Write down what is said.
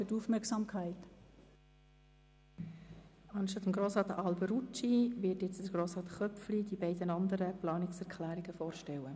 Grossrat Köpfli wird die beiden anderen Planungserklärungen vorstellen.